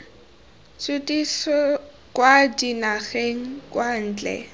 tshutiso kwa dinageng kwa ntle